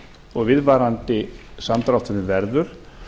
og viðvarandi samdrátturinn verður